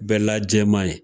Bɛla jɛman ye.